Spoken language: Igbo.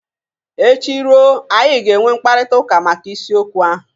Echi ruo, anyị ga-enwe mkparịtaụka maka isiokwu ahụ.